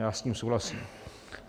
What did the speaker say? Já s tím souhlasím.